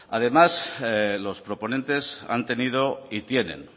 además los proponentes han tenido y tienen